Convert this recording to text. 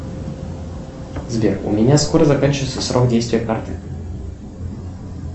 сбер у меня скоро заканчивается срок действия карты